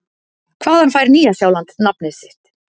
Hvaðan fær Nýja-Sjáland nafnið sitt?